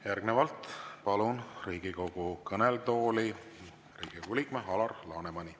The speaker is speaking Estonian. Järgnevalt palun Riigikogu kõnetooli Riigikogu liikme Alar Lanemani.